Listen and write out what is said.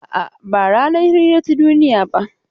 A'a, ba ranar hira ta duniya ba.